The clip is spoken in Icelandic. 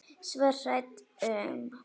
Svo hrædd um.